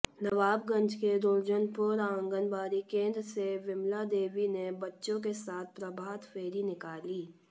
नवाबगंज के दुर्जनपुर आंगनबाड़ी केंद्र से विमला देवी ने बच्चों के साथ प्रभात फेरी निकाली